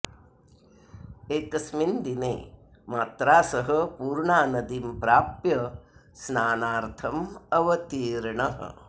एकस्मिन् दिने मात्रा सह पूर्णानदीं प्राप्य स्नानार्थम् अवतीर्णः